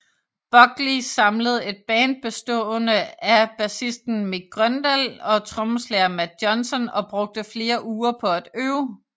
Buckley samlede et band bestående af bassisten Mick Grøndahl og trommeslager Matt Johnson og brugte flere uger på at øve